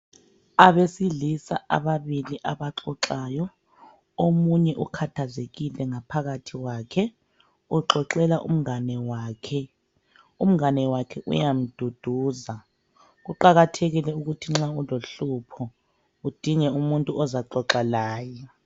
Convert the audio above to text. Abesilisa ababili abaxoxayo. Omunye ukhathazekile ngaphakathi kwakhe. Uxoxela umngane wakhe. Umngane wakhe uyamduduza. Kuqakathekile ukuthi nxa ulohlupho udinge umuntu ozaxoxa laye.